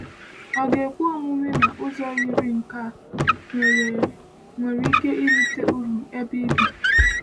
Ọ̀ ga-ekwe omume na ụzọ yiri nke a nwere a nwere ike irite uru ebe ị bi?